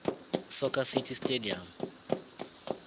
soccer city stadium